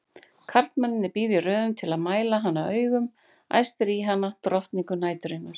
Karlmennirnir bíða í röðum til að mæla hana augum, æstir í hana, drottningu næturinnar!